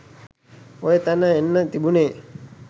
ඔය තැන එන්න තිබුණේ